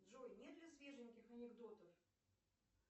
джой нет ли свеженьких анекдотов